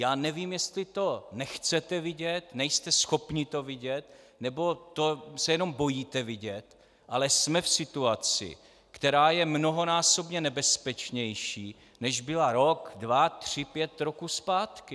Já nevím, jestli to nechcete vidět, nejste schopni to vidět nebo se to jenom bojíte vidět, ale jsme v situaci, která je mnohonásobně nebezpečnější, než byla rok, dva, tři, pět roků zpátky.